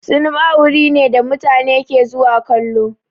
Sinima wuri ne da mutane ke zuwa kallo.